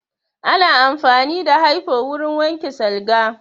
Ana amfani da hyfo wurin wanke salga